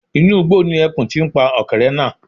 Inú igbó ni ẹkùn ti ń pa ọ̀kẹ́rẹ́ náà